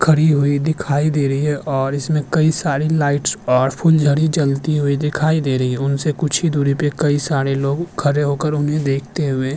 खड़ी हुई दिखाई दे रही है और इसमें कई सारी लाइटस और फुलझड़ी जलती हुई दिखाई दे रही है उनसे कुछ ही दूरी पे कई सारे लोग खरे होकर उन्हें देखते हुए --